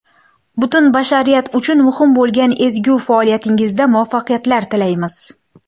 Butun bashariyat uchun muhim bo‘lgan ezgu faoliyatingizda muvaffaqiyatlar tilaymiz!